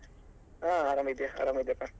ಹ ಆರಾಮಿದ್ದೆ ಆರಾಮಿದ್ದೆ ಪ.